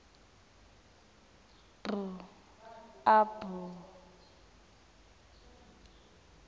b a b